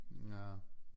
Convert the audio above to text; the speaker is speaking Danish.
Ja